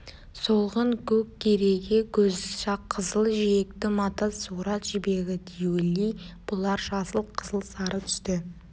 солғын-көк кереге көз қызыл жиекті мата сурат жібегі диули бұлар жасыл қызыл сары түсті